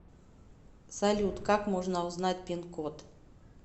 салют как можно узнать пин код